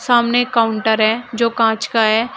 सामने काउंटर है जो कांच का है।